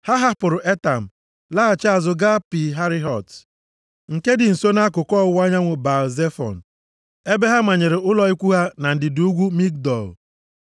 Ha hapụrụ Etam laghachi azụ gaa Pi Hahirot, nke dị nso nʼakụkụ ọwụwa anyanwụ Baal-Zefọn, ebe ha manyere ụlọ ikwu ha na ndịda ugwu Migdol.